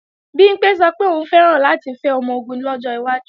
Bimpé sọ pé òun fẹ́ràn láti fẹ́ ọmọ-ogun lọ́jọ́ iwájú